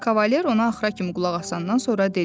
Kavaler ona axıra kimi qulaq asandan sonra dedi: